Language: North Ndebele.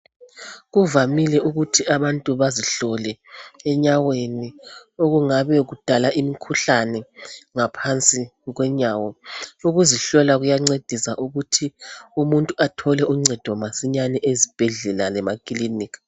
Kuvamile ukuthi abantu bazihlole enyaweni okungabe kudala imikhuhlane ngaphansi kwenyawo. Ukuzihlola kuyancedisa ukuthi umuntu athole uncedo masinyane ezibhedlela lemakilinika.